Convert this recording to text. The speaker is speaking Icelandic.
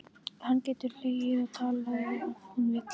Hún getur hlegið og talað ef hún vill.